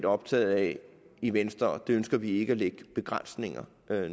optaget af i venstre og det ønsker vi ikke at lægge begrænsninger